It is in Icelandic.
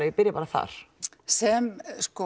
ég byrji bara þar sem